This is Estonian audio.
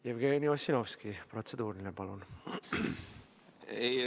Jevgeni Ossinovski, protseduuriline, palun!